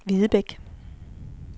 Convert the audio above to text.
Videbæk